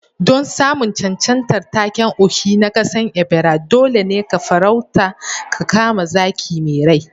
Don samun cancantar taken Ohi na kasan Ebira, dole ne ka farauta ka kama zaki mai rai